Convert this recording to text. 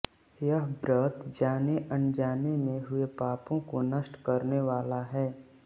यह व्रत जाने अनजाने में हुए पापों को नष्ट करने वाला है